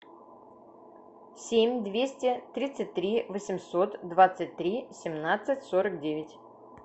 семь двести тридцать три восемьсот двадцать три семнадцать сорок девять